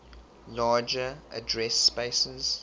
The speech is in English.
larger address spaces